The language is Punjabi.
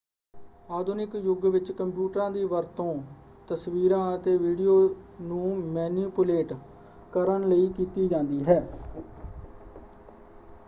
ਆਧੁਨਿਕ ਯੁੱਗ ਵਿੱਚ ਕੰਪਿਊਟਰਾਂ ਦੀ ਵਰਤੋਂ ਤਸਵੀਰਾਂ ਅਤੇ ਵੀਡੀਓ ਨੂੰ ਮੈਨੀਪੁਲੇਟ ਕਰਨ ਲਈ ਕੀਤੀ ਜਾਂਦੀ ਹੈ।